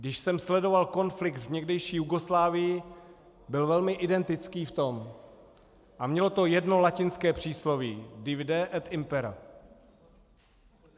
Když jsem sledoval konflikt v někdejší Jugoslávii, byl velmi identický v tom a mělo to jedno latinské přísloví divide et impera.